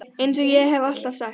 Eins og ég hef alltaf sagt.